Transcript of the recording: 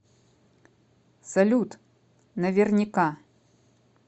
салют наверняка